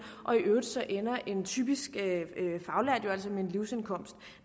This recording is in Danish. og i øvrigt så ender en typisk faglært jo altså med en livsindkomst